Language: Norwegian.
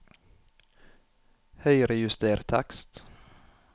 Høyrejuster tekst